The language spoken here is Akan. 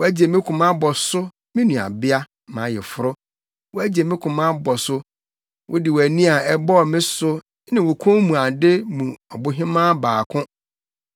Woagye me koma abɔ so, me nuabea, mʼayeforo; woagye me koma abɔ so; wode wʼani a ɛbɔɔ me so, ne wo kɔnmuade mu ɔbohemaa baako.